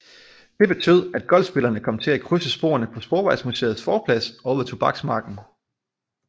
Det betød at golfspillerne kom til at krydse sporene på Sporvejsmuseets forplads og ved Tobaksmarken